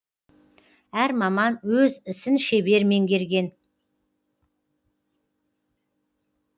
әр маман өз ісін шебер меңгерген